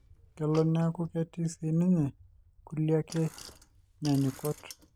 kelo neeku ketii sii ninye kulie ake nyaanyukot.